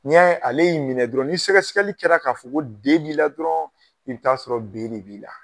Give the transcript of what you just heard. N'i y'a ye ale y'i minɛ dɔrɔn ni sɛgɛsɛgɛli kɛra k'a fɔ ko D b'i la dɔrɔn, i bi taa sɔrɔ B de b'i la